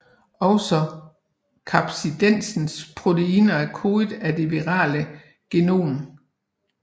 Også kapsidens proteiner er kodet af det virale genom